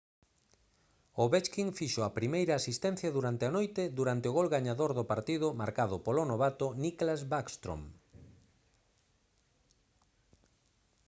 ovechkin fixo a primeira asistencia durante a noite durante o gol gañador do partido marcado polo novato nicklas backstrom